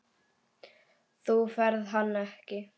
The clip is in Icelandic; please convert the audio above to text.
Þú færð hann ekki.